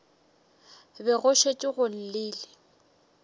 be go šetše go llile